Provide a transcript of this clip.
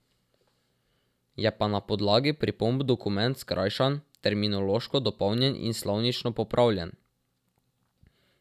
Je pa na podlagi pripomb dokument skrajšan, terminološko dopolnjen in slovnično popravljen.